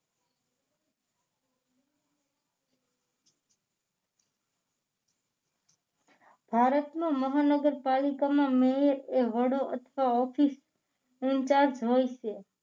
ભારતનો મહાનગરપાલિકામાં મેયર એ વડો અથવા ઓફિસ ઇન્ચાર્જ હોય છે